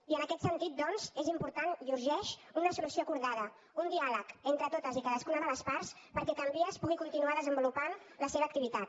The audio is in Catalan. i en aquest sentit doncs és important i urgeix una solució acordada un diàleg entre totes i cadascuna de les parts perquè can vies pugui continuar desenvolupant la seva activitat